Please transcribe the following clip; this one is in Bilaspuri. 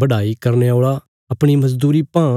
बढाई करने औल़ा अपणी मजदूरी पां